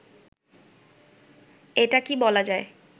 এটা কি বলা যায়